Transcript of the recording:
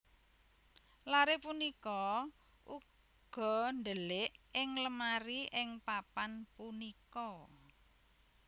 Lare punika uga ndelik ing lemari ing papan punika